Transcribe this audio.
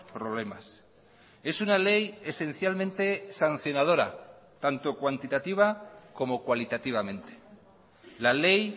problemas es una ley esencialmente sancionadora tanto cuantitativa como cualitativamente la ley